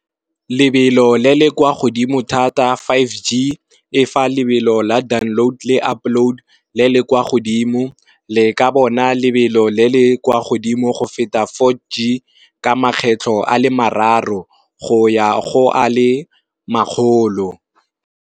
Lebelo le le kwa godimo thata five G e fa lebelo la download le upload le le kwa godimo, le ka bona lebelo le le kwa godimo go feta four G ka makgetlho a le mararo go ya go a le makgolo.